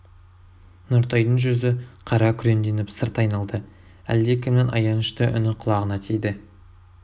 нұртайдың жүзі қара күреңденіп сырт айналды әлде кімнің аянышты үні құлағына тиді